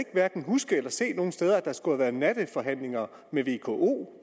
hverken huske eller se nogen steder at der skulle have været natteforhandlinger mellem vko